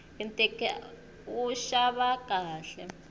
ntiki a wu xava khale